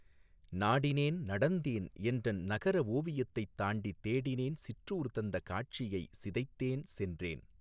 நாடினேன் நடந்தேன்என்றன் நகரஓ வியத்தைத் தாண்டித் தேடினேன் சிற்றூர் தந்த காட்சியைச் சிதைத்தேன் சென்றேன்